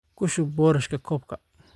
Ku shub boorashka koobka